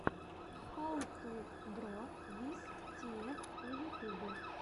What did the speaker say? хау ту дро виз тиэф в ютубе